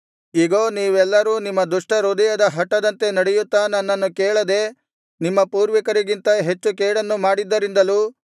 ಇಗೋ ನೀವೆಲ್ಲರೂ ನಿಮ್ಮ ದುಷ್ಟಹೃದಯದ ಹಟದಂತೆ ನಡೆಯುತ್ತಾ ನನ್ನನ್ನು ಕೇಳದೆ ನಿಮ್ಮ ಪೂರ್ವಿಕರಿಗಿಂತ ಹೆಚ್ಚು ಕೇಡನ್ನು ಮಾಡಿದ್ದರಿಂದಲೂ